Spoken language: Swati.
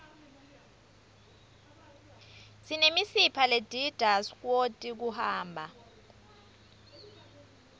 sinemisipha ledidta skwoti kuhamba